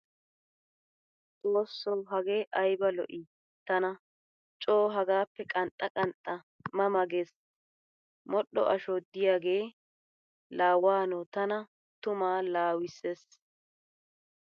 Xoosso hagee ayaba lo"ii! Tana coo hagaappe qanxxa qanxxa ma ma gees, modhdho asho diyaage laa waano tana tuma laawussees.